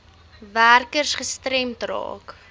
werkers gestremd raak